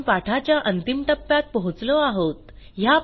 आपण पाठाच्या अंतिम टप्प्यात पोहोचलो आहोत